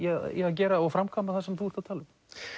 gera og framkvæma það sem þú ert að tala um